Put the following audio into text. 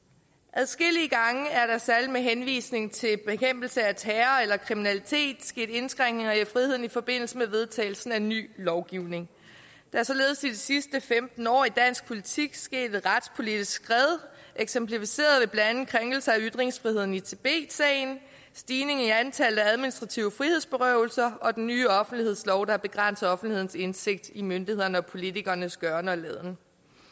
adskillige gange er der særlig med henvisning til bekæmpelse af terror eller kriminalitet sket indskrænkninger i friheden i forbindelse med vedtagelsen af ny lovgivning der er således i de sidste femten år i dansk politik sket et retspolitisk skred eksemplificeret ved blandt andet krænkelser af ytringsfriheden i tibet sagen stigning i antallet af administrative frihedsberøvelser og den nye offentlighedslov der begrænser offentlighedens indsigt i myndighedernes og politikernes gøren og laden